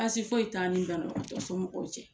Baasi foyi t'an ni banabagatɔ somɔgɔw cɛ